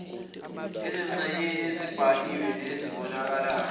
ezingxenyeni ezibhaliwe nezibonakalayo